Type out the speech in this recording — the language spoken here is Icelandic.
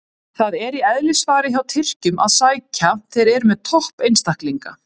Það er í eðlisfari hjá Tyrkjunum að sækja, þeir eru með topp einstaklinga.